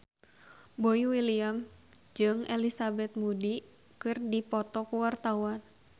Boy William jeung Elizabeth Moody keur dipoto ku wartawan